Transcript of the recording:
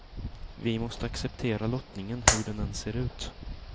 Vi måste acceptera lottningen, hur den än ser ut.